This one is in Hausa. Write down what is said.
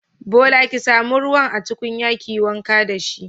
Bola ki samu ruwan a tukunyar kiyi wanka dashi.